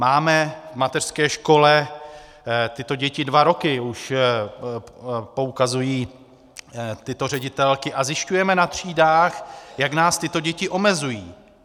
Máme v mateřské škole tyto děti dva roky, už poukazují tyto ředitelky, a zjišťujeme na třídách, jak nás tyto děti omezují.